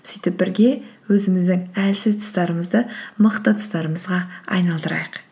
сөйтіп бірге өзіміздің әлсіз тұстарымызды мықты тұстарымызға айналдырайық